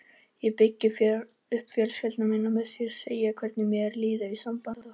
Ég byggi upp fjölskyldu mína með því að segja hvernig mér líður í sambandi okkar.